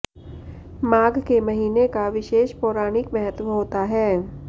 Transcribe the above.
माघ के महीने का विशेष पौराणिक महत्व होता है